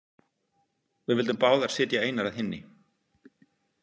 Við vildum báðar sitja einar að hinni.